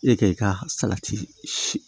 E ka i ka salati si